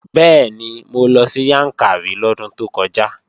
Bẹ́ẹ̀ni, mo lọ sí Yàǹkàrí lọ́dún tó kọjá